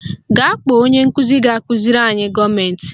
Gaa kpọọ onye nkụzi ga-akụziri anyị gọọmentị